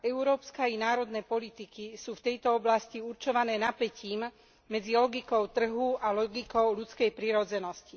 Európska i národné politiky sú v tejto oblasti určované napätím medzi logikou trhu a logikou ľudskej prirodzenosti.